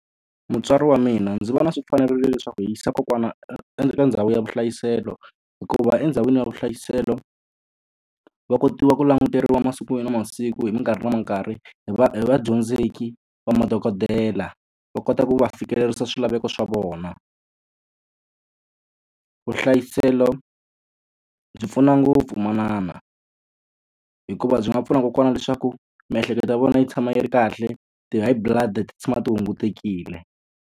Mutswari wa mina ndzi vona swi fanerile leswaku hi yisa kokwana eka ndhawu ya vuhlayiselo, hikuva endhawini ya vuhlayiselo va kotiwa ku languteriwa masiku ni masiku hi minkarhi na minkarhi hi hi vadyondzeki va madokodela, va kota ku va fikelerisa swilaveko swa vona. Vuhlayiselo byi pfuna ngopfu manana hikuva byi nga pfuna kokwana leswaku miehleketo ya vona yi tshama yi ri kahle, ti-high blood ti tshama ti hungutekile.